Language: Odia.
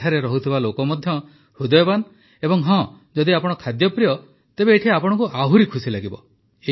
ଏଠାରେ ରହୁଥିବା ଲୋକ ମଧ୍ୟ ହୃଦୟବାନ ଏବଂ ହଁ ଯଦି ଆପଣ ଖାଦ୍ୟପ୍ରିୟ ତେବେ ଏଠି ଆପଣଙ୍କୁ ଆହୁରି ଖୁସି ଲାଗିବ